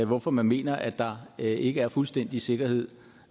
hvorfor man mener at der ikke er fuldstændig sikkerhed